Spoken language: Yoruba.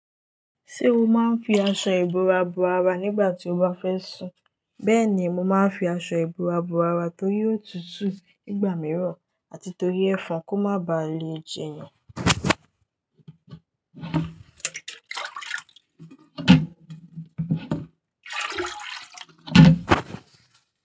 Ṣé o máa ń fi aṣọ ìbora bo ara nígbà tí o bá fẹ́ sùn? Bẹ́ẹ̀ni, mo máa ń fi aṣọ ìbora bo ara torí ótutù nígbà mìíràn àti torí ẹfan kó má baà le jẹ èèyàn.